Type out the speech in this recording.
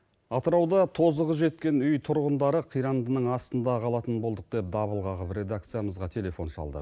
атырауда тозығы жеткен үй тұрғындары қирандының астында қалатын болдық деп дабыл қағып редакциямызға телефон шалды